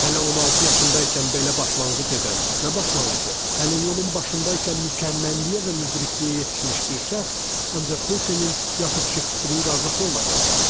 Hələ 16 yaşında ikən belə başlanğıc edən, nə başlanğıcı, hələ yolun başındaykən mükəmməlliyə və müdrikliyə yetişmiş bir şəxs ancaq Hötenin yaxud Şekspirin qardaşı ola bilərdi.